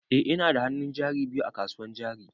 Eh ina da hannun jari biyu a kasuwan jari.